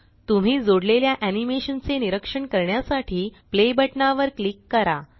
तुम्ही जोडलेल्या एनीमेशन चे निरक्षण करण्यासाठी प्ले बटनावर क्लिक करा